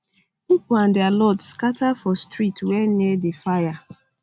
pipo and dia load scata for streets wey near di fire